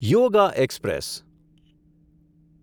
yoga express